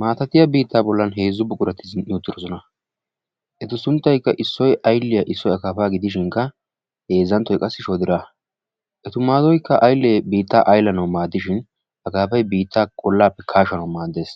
Maatatiya biittaa bollan heezzu buqurati zin"i uttidoosona. Etu sunttaykka issoy aylliya, issoy akkaapa gidishinkka heezzànttoy qassi shoodiraa. Eta maaddoykka qassi ayllee biitta aylanaw maaddishin akaapay biitta olappe kaashanawu maaddees.